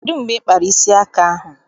Kedụ mgbe ị kpara isi aka ahụ?